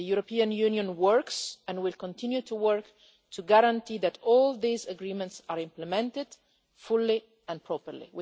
The European Union is working and will continue to work to guarantee that all these agreements are implemented fully and properly.